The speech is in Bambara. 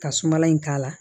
Ka suma in k'a la